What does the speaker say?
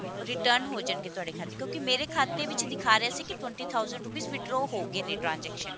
return ਹੋ ਜਾਣਗੇ ਤੁਹਾਡੇ ਖਾਤੇ ਚ ਕਿਉਂਕੀ ਮੇਰੇ ਖਾਤੇ ਵਿੱਚ ਦਿਖਾ ਰਿਹਾ ਸੀ ਕਿ twenty thousand rupees withdraw ਹੋ ਗਏ ਨੇ transaction